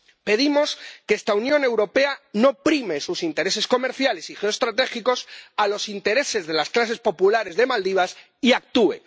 Pedimos que esta Unión Europea no prime sus intereses comerciales y geoestratégicos frente a los intereses de las clases populares de Maldivas y actúe.